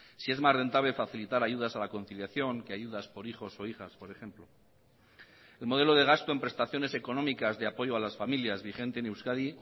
si es más rentable facilitar ayudas a la conciliación que ayudas por hijos o hijas por ejemplo el modelo de gasto en prestaciones económicas de apoyo a las familias vigente en euskadi